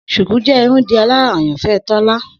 Shuku jẹ irundidalara ayanfẹ Tola.